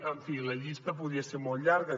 en fi la llista podria ser molt llarga